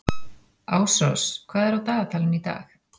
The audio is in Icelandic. Ásrós, hvað er á dagatalinu í dag?